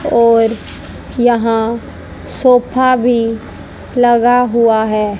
और यहां सोफा भी लगा हुआ है।